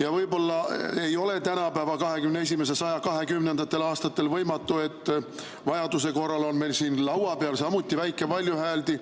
ja võib-olla ei ole tänapäeval, 21. sajandi 20. aastatel võimatu, et vajaduse korral on meil siin laua peal samuti väike valjuhääldi.